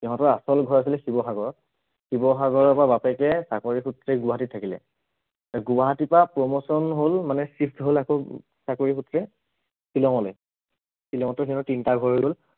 সিহঁতৰ আচল ঘৰ আছিলে শিৱসাগৰত, শিৱসাগৰৰ পৰা বাপেকে চাকৰি সূত্ৰে গুৱাহাটীত থাকিলে, গুৱাহাটীৰ পৰা promotion হল মানে shift হল আকৌ চাকৰি সূত্ৰে শ্বিলঙলৈ, শ্বিলঙতো সিহঁতৰ তিনিটা ঘৰ হল